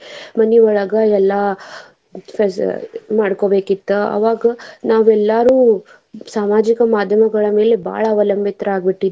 ಮನೆಯೊಳಗ ಎಲ್ಲಾ ಕೆಲ್ಸ ಮಾಡ್ಕೊಬೇಕಿತ್ತ ಅವಾಗ ನಾವೆಲ್ಲಾರು ಸಾಮಾಜಿಕ ಮಾದ್ಯಮಗಳ ಮೇಲೆ ಬಾಳ ಅವಲಂಬಿತರಾಗಿ ಬಿಟ್ಟಿದ್ವಿ.